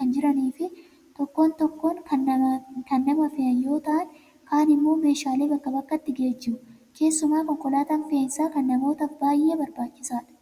kan jiranii fi tokko tokko kan nama fe'an yoo ta'an, kaan immoo meeshaalee bakkaa bakkatti geejjibu. Keessumaa konkolaataan fe'iisaa kan namootaaf baay'ee barbaachisaadha.